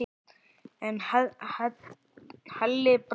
En Halli brosti ekki.